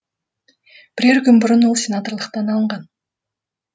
бірер күн бұрын ол сенаторлықтан алынған